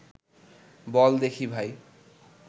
বল দেখি ভাই